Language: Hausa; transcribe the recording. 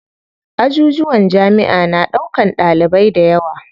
Ajujuwan jamiʼa na ɗaukan ɗalibai dayawa.